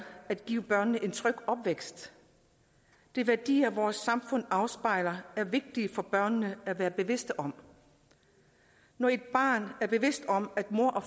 at give børnene en tryg opvækst de værdier vores samfund afspejler er det vigtigt at børnene er bevidste om når et barn er bevidst om at moren og